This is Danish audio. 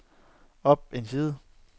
op en side